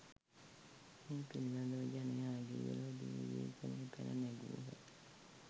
මේ පිළීබඳව ජනයාගේ විරෝධය විවේචනය පැන නැඟූහ.